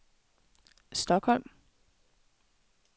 Stockholm